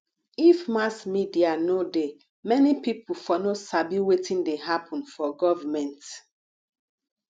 if mass media no dey many people for no sabi wetin dey happen for government